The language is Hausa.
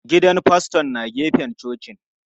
Gidan faston na gefen cocin.